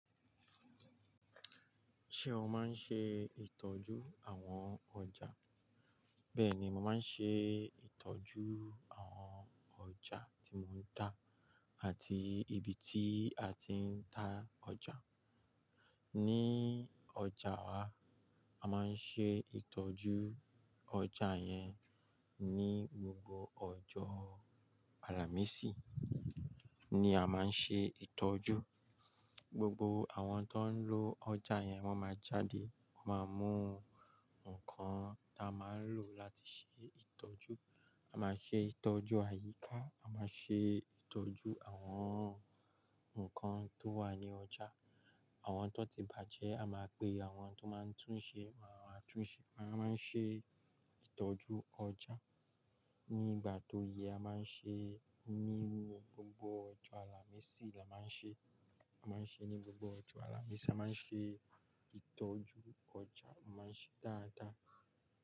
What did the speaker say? Ṣé o máa ń ṣe ìtọ́jú àwọn ọjà? Bẹ́ẹ̀ni, mo máa ń ṣe ìtọ́jú àwọn ọjà tí mò ń ta àti ibi tí a ti ń ta ọjà. Ní ọjà wa, a máa ń ṣe ìtọ́jú ọjà yẹn ní gbogbo ọjọ́ àlàmísì ni a máa ń ṣe ìtọ́jú. Gbogbo àwọn tó ń lọ ọjà yẹn wọ́n máa jáde, wọ́n máa mú nǹkan tá a máa ń lò láti ṣe ìtọ́jú. A máa ṣe ìtọ́jú àyíká, a máa ṣe ìtọ́jú àwọn ǹkan tó wà ní ọjà. Àwọn tó ti bajẹ a máa pe àwọn tó máa ń tun ṣe, máa wá a tún ṣe. Wọ́n á máa ń ṣe ìtọ́jú ọjà. Ní ìgbà tó yẹ a máa ń ṣe ní gbogbo ọjọ́ àlàmísì la máa ń ṣe. A máa ń ṣe ní gbogbo ọjọ́ àlàmísì, a máa ń ṣe ìtọ́jú ọjà, a máa ń ṣe dáadáa.